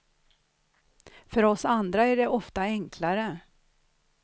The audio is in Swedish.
För oss andra är det ofta enklare.